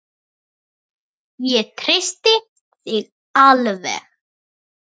Ég treysti þér alveg!